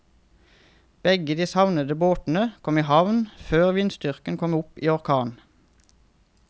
Begge de savnede båtene kom i havn før vindstyrken kom opp i orkan.